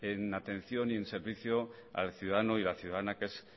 en atención y en servicio al ciudadano y a la ciudadana que es